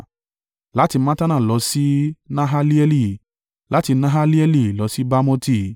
láti Mattana lọ sí Nahalieli, láti Nahalieli lọ sí Bamoti,